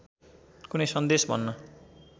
कुनै सन्देश भन्न